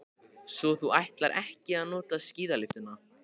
Svo þú ætlar ekki að nota skíðalyftuna.